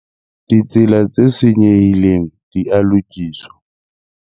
Ditsela tse senyehileng di a lokiswa.